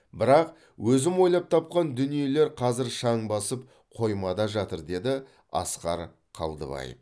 бірақ өзім ойлап тапқан дүниелер қазір шаң басып қоймада жатыр деді асқар қалдыбаев